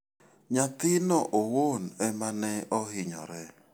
Nyathino owuon ema ne ohinyore.